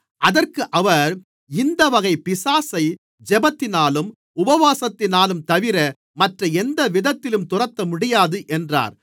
அதற்கு அவர் இந்தவகைப் பிசாசை ஜெபத்தினாலும் உபவாசத்தினாலும்தவிர மற்ற எந்தவிதத்திலும் துரத்தமுடியாது என்றார்